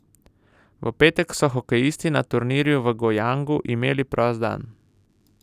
V petek so hokejisti na turnirju v Gojangu imeli prost dan.